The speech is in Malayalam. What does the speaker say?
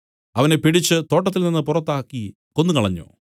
അവനെ പിടിച്ച് തോട്ടത്തിൽനിന്ന് പുറത്താക്കി കൊന്നുകളഞ്ഞു